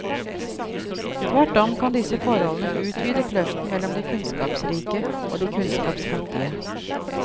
Tvert om kan disse forholdene utvide kløften mellom de kunnskapsrike og de kunnskapsfattige.